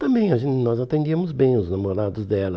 Também, a gen nós atendíamos bem os namorados dela.